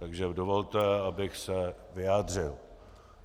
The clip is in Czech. Takže dovolte, abych se vyjádřil.